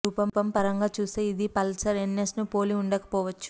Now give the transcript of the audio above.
రూపం పరంగా చూస్తే ఇది పల్సర్ ఎన్ఎస్ ను పోలి ఉండకపోవచ్చు